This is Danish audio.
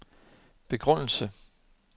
begrundelse